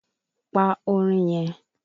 Pa orin yẹn!